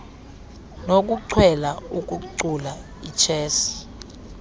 nokuchwela ukucula ichess